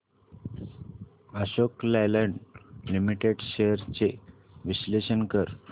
Ashok Leyland limited shares चे विश्लेषण कर